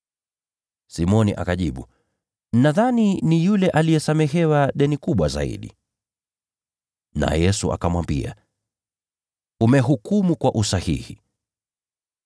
Simoni akajibu, “Nadhani ni yule aliyesamehewa deni kubwa zaidi.” Naye Yesu akamwambia, “Umehukumu kwa usahihi.”